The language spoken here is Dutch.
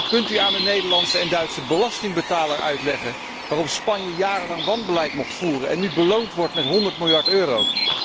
Kunt u aan de Nederlandse en Duitse belastingbetaler uitleggen waarom Spanje jarenlang wanbeleid mocht voeren en nu beloond wordt met 100 miljard euro?